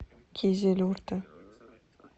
кизилюрте